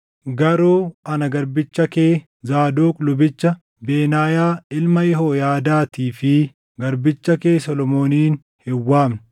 Garuu ana garbicha kee, Zaadoq lubicha, Benaayaa ilma Yehooyaadaatii fi garbicha kee Solomoonin hin waamne.